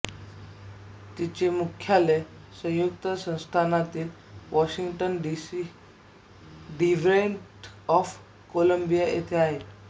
तिचे मुख्यालय संयुक्त संस्थानातील वॉशिंग्टन डिस्ट्रिक्ट ऑफ कोलम्बिया इथे आहे